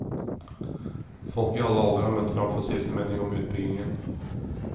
Folk i alle aldre hadde møtt frem for å si sin mening om utbyggingen.